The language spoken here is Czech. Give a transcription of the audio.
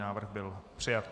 Návrh byl přijat.